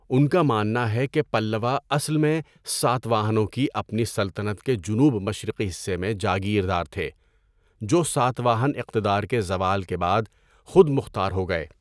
ان کا ماننا ہے کہ پلّوا اصل میں ساتواہنوں کی اپنی سلطنت کے جنوب مشرقی حصے میں جاگیردار تھے جو ساتواہن اقتدار کے زوال کے بعد خود مختار ہو گئے۔